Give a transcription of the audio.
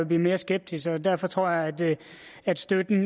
blive mere skeptisk og derfor tror jeg at støtten